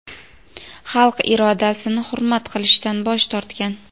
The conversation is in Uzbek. xalq irodasini hurmat qilishdan bosh tortgan.